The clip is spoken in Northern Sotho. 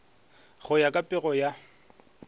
go ya ka pego ya